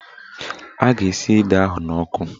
A ga-esi ede ahụ n'ọkụ